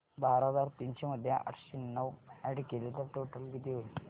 बारा हजार तीनशे मध्ये आठशे नऊ अॅड केले तर टोटल किती होईल